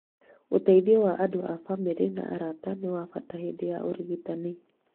Ũteithio wa andũ a bamĩrĩ na arata nĩ wa bata hĩndĩ ya ũrigitani.